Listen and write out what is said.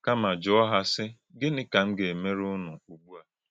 Kā́má jùọ̀ há, sị, “Gịnị kà m gà-èmèrè únù ugbú à?”